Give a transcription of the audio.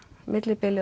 millibili